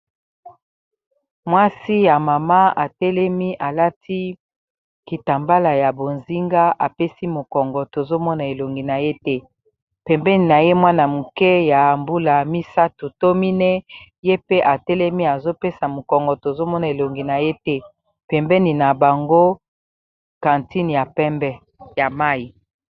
Mwasi ya mama atelemi alati kitambala ya bozinga apesi mokongo tozomona elongi na ye te pembeni na ye mwana moke ya mbula misato tomine ye pe atelemi azopesa mokongo tozomona elongi na ye te pembeni na bango kantine ya pembe ya mayi.